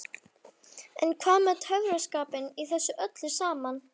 En hvað með töffaraskapinn í þessu öllu saman?